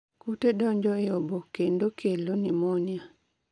Kute donjo e obo endo kelo pneumonia